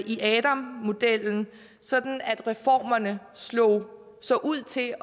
i adam modellen sådan at reformerne så så ud til